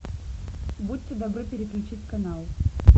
будьте добры переключить канал